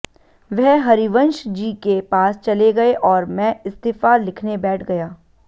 वह हरिवंश जी के पास चले गए और मैं इस्तीफा लिखने बैठ गया